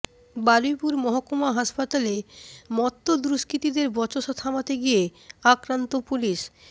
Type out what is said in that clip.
বারুইপুর মহকুমা হাসপাতালে মত্ত দুষ্কৃতীদের বচসা থামাতে গিয়ে আক্রান্ত পুলিশ